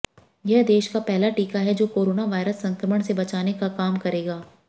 यह देश का पहला टीका है जो कोरोना वायरस संक्रमण से बचाने का काम करेगा